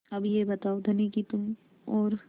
अब यह बताओ धनी कि तुम और